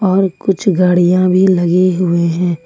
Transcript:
और कुछ गाड़ियां भी लगे हुए हैं।